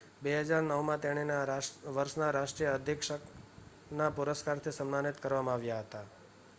2009 માં તેણીને વર્ષના રાષ્ટ્રીય અધિક્ષકના પુરસ્કારથી સમ્માનિત કરવામાં આવ્યા હતા